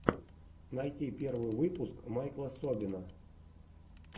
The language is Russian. найти первый выпуск майкла собина